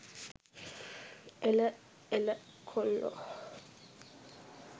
එළ එළ කොල්ලෝ